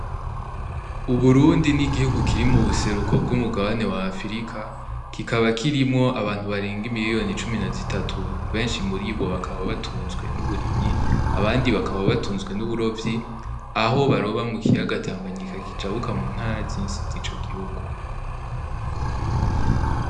U Burundi ni igihugu kiri mu buseruko bw'umugabane w'afurika kikaba kirimwo abantu barenga miliyoni cumi na zitatu benshi muribo bakaba batunzwe n'uburimyi abandi bakaba batunzwe n'uburovyi aho baroba mukiyaga tanganyika zicabuka muntara zose zico gihugu.